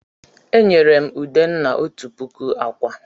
E nyere m Udenna òtù puku ákwà.